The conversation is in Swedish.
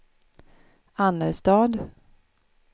Annerstad